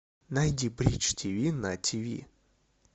найди бридж тиви на тиви